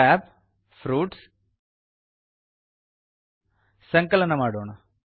tab160 fruits ಸಂಕಲನ ಮಾಡೋಣ